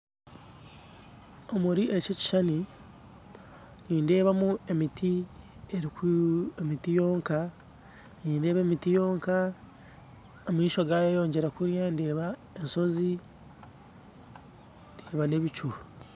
Omuri eki ekishushani nindebamu emiti, emiti yonka nindeeba emiti yonka ,amaisho gayeyongera kuriya ndeeba ensozi, ndeeba n'ebicu